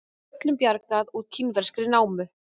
Öllum bjargað úr kínverskri námu